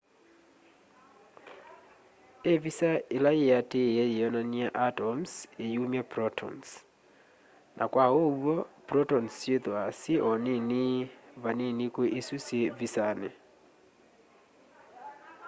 ivisa ila yiatiie yionany'a atoms iyumya protons na kwa uw'o protons syithwaa syi o nini vanini kwi isu syi visani